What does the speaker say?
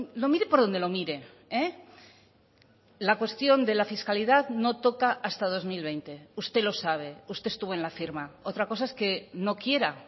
lo mire por donde lo mire la cuestión de la fiscalidad no toca hasta dos mil veinte usted lo sabe usted estuvo en la firma otra cosa es que no quiera